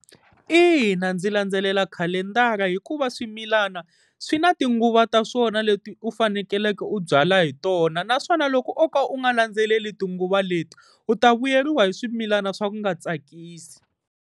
Ina, ndzi landzelela khalendara hikuva swimilana swi na tinguva ta swona leti u fanekeleke u byala hi tona naswona loko oka u nga landzeleli tinguva leti u ta vuyeriwa hi swimilana swa ku nga tsakisi.